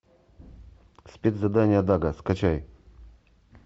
спецзадание дага скачай